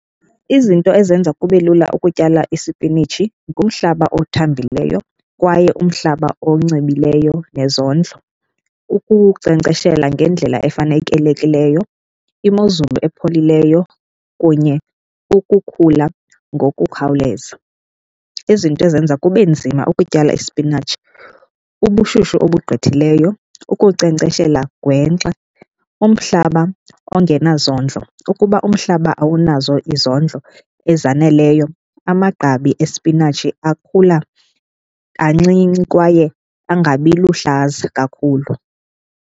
Izinto ezenza kube lula ukutyala isipinitshi ngumhlaba othambileyo kwaye umhlaba oncibileyo nezondlo, ukunkcenkceshela ngendlela efanelekileyo, imozulu epholileyo kunye ukukhula ngokukhawuleza. Izinto ezenza kube nzima ukutyala isipinatshi ubushushu obugqithileyo, ukunkcenkceshela gwenxa, umhlaba ongena zondlo. Ukuba umhlaba awunazo izondlo ezaneleyo amagqabi espinatshi akhula kancinci kwaye angabi luhlaza kakhulu.